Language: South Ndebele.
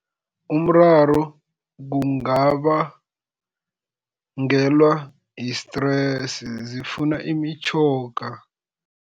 Umraro kungabangelwa yi-stress, zifuna imitjhoga.